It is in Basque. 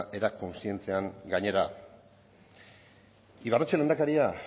era kontzientean gainera ibarretxe lehendakaria